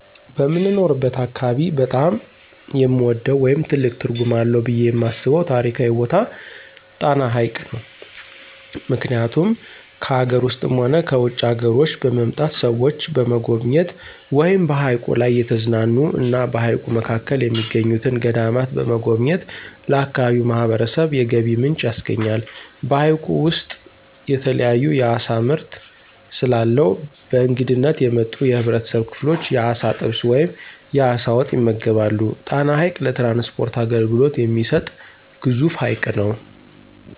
በምኖርበት አካባቢ በጣም የምወደው ወይም ትልቅ ትርጉም አለው ብየ የማስበው ታሪካዊ ቦታ ጣና ሀይቅ ነው። ምክኒያቱም ከአገር ውስጥም ሆነ ከውጭ አገሮች በመምጣት ሰዎች በመጎብኘት ወይም በሀይቁ ላይ እየተዝናኑ እና በሀይቁ መካከል የሚገኙትን ገዳማት በመጎብኘት ለአካባቢው ማህበረሰብ የገቢ ምንጭ ያስገኛል። በሀይቁ ውስጥ የተለያዩ የአሳ ምርት ስለአለው በእንግድነት የመጡ የህብረተሰብ ክፍሎች የአሳ ጥብስ ወይም የአሳ ወጥ ይመገባሉ። ጣና ሀይቅ ለትራንስፖርት አገልግሎት የሚሰጥ ግዙፍ ሀይቅ ነው።